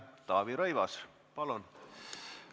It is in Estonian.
Taavi Rõivas, palun!